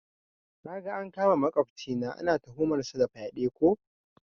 Naga an kama makwafcina, ana tuhumar sa da fyaɗe ko?